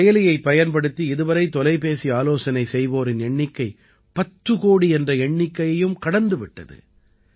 இந்தச் செயலியைப் பயன்படுத்தி இதுவரை தொலைபேசி ஆலோசனை செய்வோரின் எண்ணிக்கை பத்து கோடி என்ற எண்ணிக்கையையும் கடந்து விட்டது